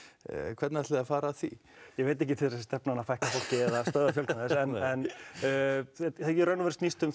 hvernig ætlið þið að fara að því ég veit ekki til þess stefna að fækka fólki eða stöðva fjölgun þess en þetta í raun snýst um